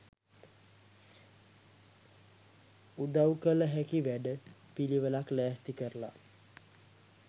උදව් කල හැකි වැඩ පිලිවෙලක් ලෑස්ති කරලා